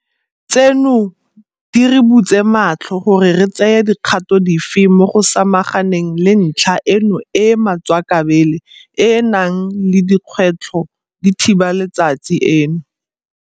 Tseno di re butse matlho gore re tseye dikgato dife mo go samaganeng le ntlha eno e e matswakabele e e nang le dikgwetlho di thiba letsatsi eno.